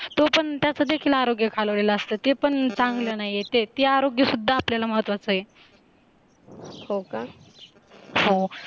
तो पण त्याचा देखील आरोग्य घालवलेला असतो ते पण चांगलं नाहीये ते आरोग्य सुद्धा आपल्याला महत्त्वाचा आहे हो का? हो